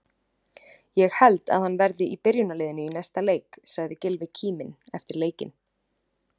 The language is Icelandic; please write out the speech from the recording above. Ég held að hann verði í byrjunarliðinu í næsta leik, sagði Gylfi kíminn eftir leikinn.